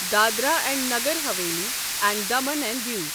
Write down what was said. Dadra and Nagar Haveli and Daman and Diu